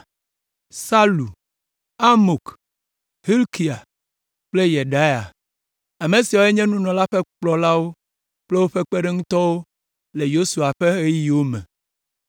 Salu, Amok, Hilkia kple Yedaia. Ame siawoe nye nunɔlawo ƒe kplɔlawo kple woƒe kpeɖeŋutɔwo le Yesua ƒe ɣeyiɣiwo me.